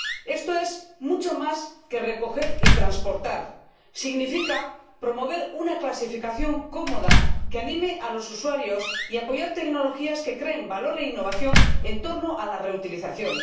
Esto es mucho más que recoger y transportar significa promover una clasificación cómoda que anime a los usuarios y apoyar tecnologías que creen valor e innovación en torno a la reutilización.